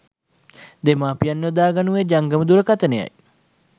දෙමාපියන් යොදා ගනුයේ ජංගම දුරකථනයයි.